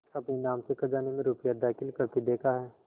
अपने नाम से खजाने में रुपया दाखिल करते देखा है